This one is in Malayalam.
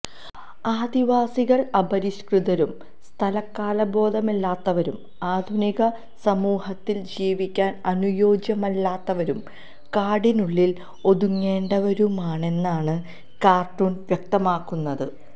ആദിവാസികള് അപരിഷ്കൃതരും സ്ഥലകാലബോധമില്ലാത്തവരും ആധുനിക സമൂഹത്തില് ജീവിക്കാന് അനുയോജ്യരല്ലാത്തവരും കാടിനുള്ളില് ഒതുങ്ങേണ്ടവരുമാണെന്നാണ് കാര്ട്ടൂണ് വ്യക്തമാക്കുന്നത്